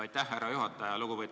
Aitäh, härra juhataja!